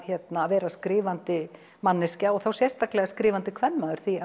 vera skrifandi manneskja og þá sérstaklega skrifandi kvenmaður því